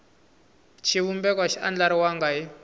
xivumbeko a xi andlariwangi hi